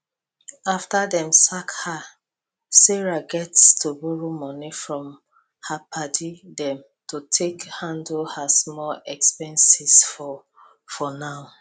after dem sack her sarah gats borrow money from her padi dem to take handle her expenses for for now